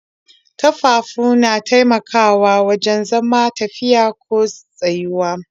Ƙafafu na taimakawa wajen zama, tafiya ko tsayuwa.